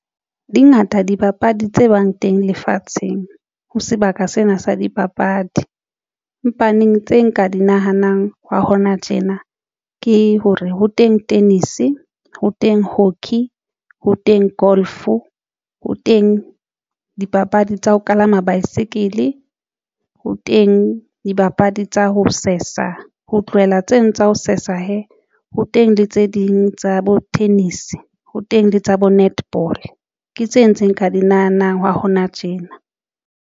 Dingata dibapadi tse bang teng lefatsheng ho sebaka sena sa dipapadi, empaneng tse nka di nahanang hwa hona tjena ke hore ho teng tennis, ho teng hockey, ho teng golf ho teng dipapadi tsa ho kalama baesekele. Ho teng dibapadi tsa ho sesa ho tlohela tseno tsa ho sesa hee. Ho teng le tse ding tsa bo tennis ho teng le tsa bo netball ke tse ntse ka di nahanang hwa hona tjena.